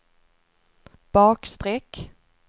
bakstreck